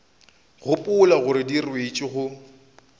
gopola gore di ruetšwe go